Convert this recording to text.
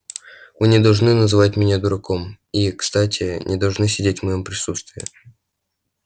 вы не должны называть меня дураком и кстати не должны сидеть в моём присутствии